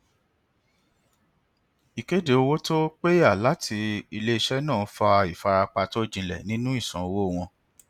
ìkéde owó tó péyà láti iléiṣẹ náà fa ìfarapa tó jinlẹ nínú ìsan owó wọn